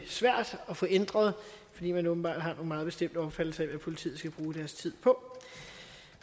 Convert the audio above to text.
svært at få ændret fordi man åbenbart har en meget bestemt opfattelse af hvad politiet skal bruge deres tid på